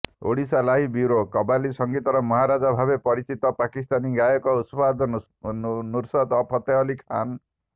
Odisha live bureau କବାଲି ସଂଙ୍ଗୀତର ମହାରାଜା ଭାବେ ପରିଚିତ ପାକିସ୍ତାନୀ ଗାୟକ ଉସ୍ତାଦ ନୁସରତ ଫତେ ଅଲ୍ଲୀ ଖାନ